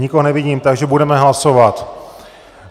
Nikoho nevidím, takže budeme hlasovat.